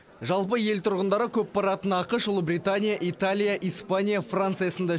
жалпы ел тұрғындары көп баратын ақш ұлыбритания италия испания франция сынды